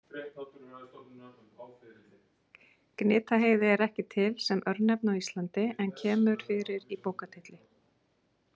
Gnitaheiði er ekki til sem örnefni á Íslandi en kemur fyrir í bókartitli.